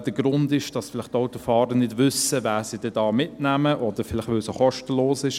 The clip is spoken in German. Der Grund ist, dass vielleicht die Autofahrer nicht wissen, wen Sie da mitnehmen oder vielleicht, weil es kostenlos ist.